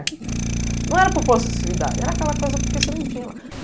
Não era por possessividade, era aquela coisa porque você não tinha lá.